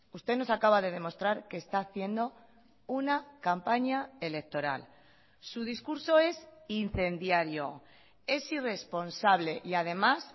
usted nos acaba de demostrar que está haciendo una campaña electoral su discurso es incendiario es irresponsable y además